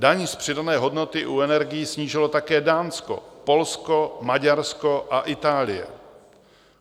Daň z přidané hodnoty u energií snížilo také Dánsko, Polsko, Maďarsko a Itálie.